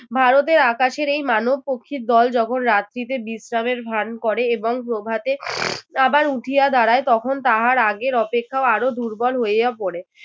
ভারতের আকাশের এই মানব পক্ষীর দল যখন রাত্রিতে বিশ্রামের ভান করে এবং প্রভাতে আবার উঠিয়া দাঁড়ায় তখন তাহার আগের অপেক্ষাও আরও দুর্বল হইয়া পড়ে।